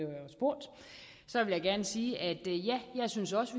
jeg spurgt sige ja jeg synes også